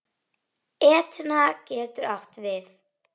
Etna getur átt við